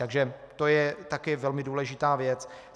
Takže to je také velmi důležitá věc.